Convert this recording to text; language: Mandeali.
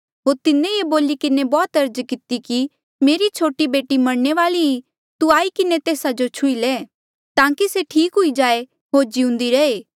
होर तिन्हें ये बोली किन्हें बौह्त अर्ज किती कि मेरी छोटी बेटी मरणे वाली ई तू आई किन्हें तेस्सा जो छुही ले ताकि से ठीक हुई जाए होर जीऊन्दी रहे